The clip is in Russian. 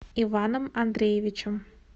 иваном андреевичем